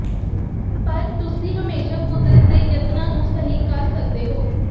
ਪਰ ਤੁਸੀਂ ਹਮੇਸ਼ਾ ਕੁਦਰਤ ਦੇ ਯਤਨਾਂ ਨੂੰ ਸਹੀ ਕਰ ਸਕਦੇ ਹੋ